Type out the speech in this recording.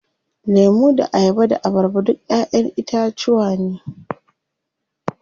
Lemu da ayaba da abarba duk ƴaƴen itacuwa ne.